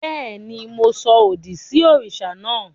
Béèni, Mo sọ òdì sí òrìṣà naa